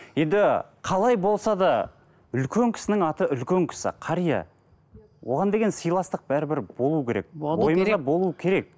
енді қалай болса да үлкен кісінің аты үлкен кісі қария оған деген сыйластық бәрібір болу керек болу керек